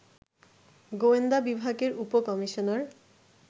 গোয়েন্দা বিভাগের উপ কমিশনার